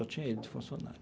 Só tinha ele de funcionário.